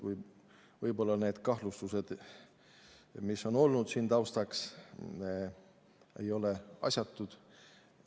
Võib-olla need kahtlustused, mis on olnud siin taustaks, ei ole asjatud.